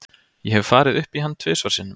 Ég hef farið upp í hann tvisvar sinnum.